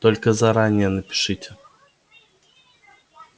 только заранее напишите